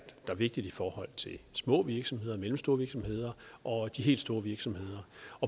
vigtigt for små virksomheder og mellemstore virksomheder og de helt store virksomheder